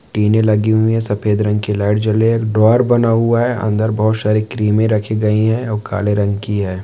टीने लगी हुई है सफेद रंग की लाइट ज्वले एक ड्रयार बना हुआ है अंदर बहुत सारे क्रीमें रखी गई है ओ काले रंग की है।